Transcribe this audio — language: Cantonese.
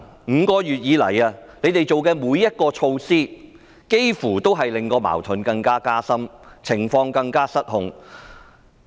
5個月以來，他們做的每項措施，幾乎都令矛盾加深、令情況更失控。